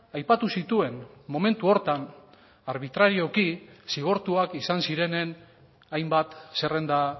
aipatu zituen momentu horretan arbitrarioki zigortuak izan zirenen hainbat zerrenda